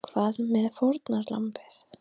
Hvað með fórnarlambið?